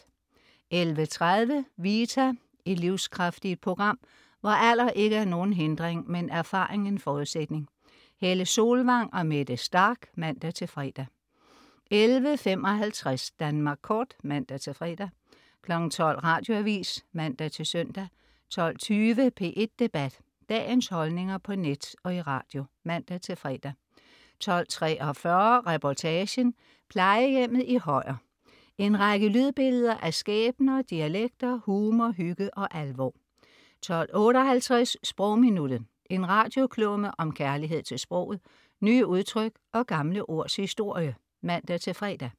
11.30 Vita. Et livskraftigt program, hvor alder ikke er nogen hindring, men erfaring en forudsætning. Helle Solvang og Mette Starch (man-fre) 11.55 Danmark Kort (man-fre) 12.00 Radioavis (man-søn) 12.20 P1 Debat. Dagens holdninger på net og i radio (man-fre) 12.43 Reportagen: Plejehjemmet i Højer. En række lydbilleder af skæbner, dialekter, humor, hygge og alvor 12.58 Sprogminuttet. En radioklumme om kærlighed til sproget, nye udtryk og gamle ords historie (man-fre)